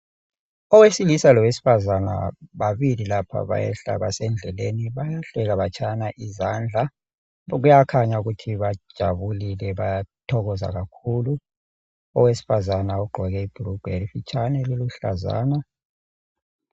Owesilisa lowesifazana babili lapha bayehla basendleleni bayahleka batshayana izandla, kuyakhanya ukuthi bajabulile bayathokoza kakhulu. Owesifazana ugqoke ibhurugwe elifitshane eliluhlazana.